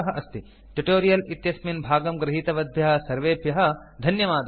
tutorial इत्यस्मिन् भागं गृहीतवद्भ्यः सर्वेभ्यः धन्यवादाः